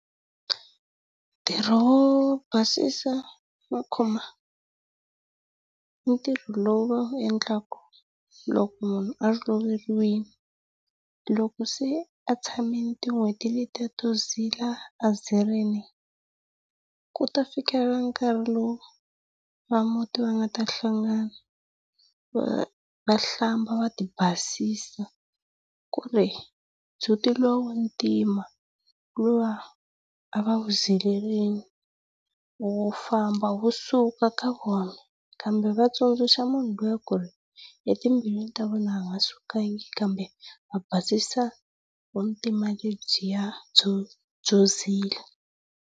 Ntirho wo basisa makhombo i ntirho lowu va wu endlaka loko munhu a loveriwile hiloko. Loko se a tshamile tin'hweti leyiya to zila a zirile, ku ta fikelela nkahi lowu va muti va nga ta hlangana va va hlamba va ti basisa ku ri ndzhuti luwa wa ntima luwa a va wu zilerile wu famba wu suka eka vona. Kambe va tsundzuxa munhu luya ku ri etimbilwini ta vona a nga sukanga kambe va basisa vintima lebyiya byo byo zila.